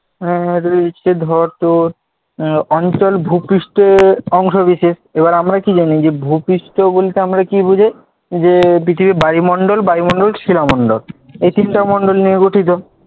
আহ রয়েছে ধর তোর, আহ অঞ্চল ভূপৃষ্ঠের অংশ বিশেষ, এবার আমরা কি জানি? ভূপৃষ্ঠ বলতে আমরা কি বুঝি? যে পৃথিবী বারিমণ্ডল বারিমণ্ডল শীলা মন্ডল এই তিনটা মন্ডল নিয়ে গঠিত।